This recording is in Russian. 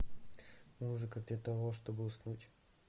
музыка для того чтобы уснуть